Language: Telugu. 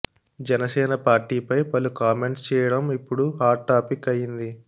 జనసేన పార్టీ ఫై పలు కామెంట్స్ చేయడం ఇప్పుడు హాట్ టాపిక్ అయ్యింది